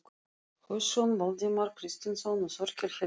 Hauksson, Valdimar Kristinsson og Þorkell Helgason.